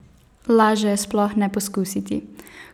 Laže je sploh ne poskusiti!